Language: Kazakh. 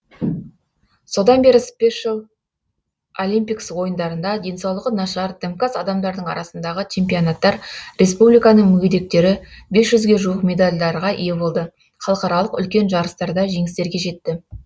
содан бері спешил олимпикс ойындарында денсаулығы нашар дімкәс адамдардың арасындағы чемпионаттар республиканың мүгедектері бес жүзге жуық медальдарға ие болды халықаралық үлкен жарыстарда жеңістерге жетті